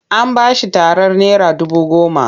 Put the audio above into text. An ba shi tarar naira dubu goma.